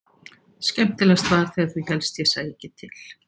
Skemmtilegast var þegar þú hélst ég sæi ekki til.